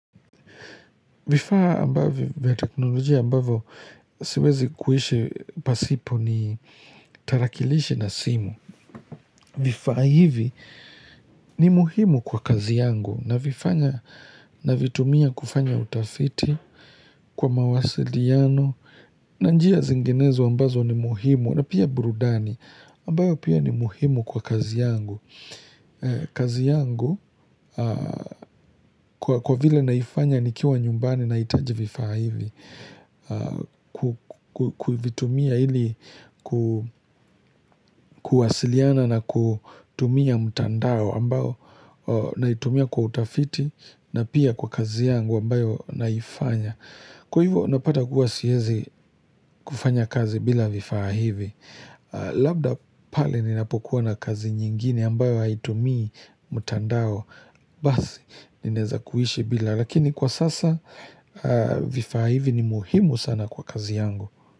Vifaa ambavo vya teknolojia ambavo siwezi kuishe pasipo ni tarakilishe na simu. Vifaa hivi ni muhimu kwa kazi yangu navifanya navitumia kufanya utafiti kwa mawasiliano na njia zinginezo ambazo ni muhimu na pia burudani ambayo pia ni muhimu kwa kazi yangu. Kazi yangu kwa kwa vile naifanya ni kiwa nyumbani na itaji vifaa hivi kuvitumia ili ku kuwasiliana na kutumia mtandao ambao na itumia kwa utafiti na pia kwa kazi yangu ambayo naifanya Kwa hivo napata kuwasiezi kufanya kazi bila vifaa hivi Labda pale ni napokuwa na kazi nyingine ambayo haitumii mutandao Basi, nineza kuishi bila Lakini kwa sasa vifaa hivi ni muhimu sana kwa kazi yangu.